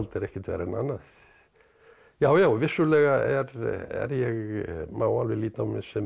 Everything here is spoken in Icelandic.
er ekkert verra en annað já já vissulega má alveg líta á mig sem